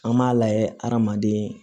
An b'a layɛ hadamaden